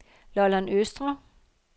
Lolland Østre